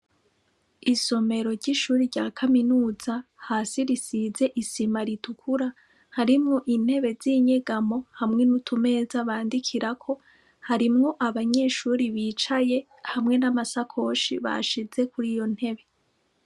Isomero ry'ishure rya kaminuza hasi risize isima ritukura, harimwo intebe zinyegamo hamwe n'utumeza bangikirako, harimwo abanyeshure bicaye, hamwe nam'asakoshi bashize kuriyo ntebe.